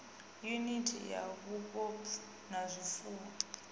yuniti ya vhufobvu ha zwifuwo